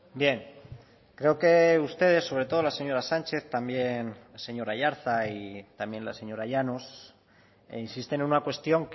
bien creo que ustedes sobre todo la señora sánchez también el señor aiartza y también la señora llanos insisten en una cuestión